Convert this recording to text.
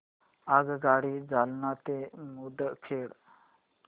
आगगाडी जालना ते मुदखेड